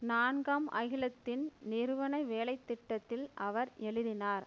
நான்காம் அகிலத்தின் நிறுவன வேலை திட்டத்தில் அவர் எழுதினார்